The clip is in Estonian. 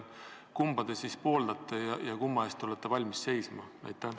Kumba te siis pooldate ja kumma eest te olete valmis seisma?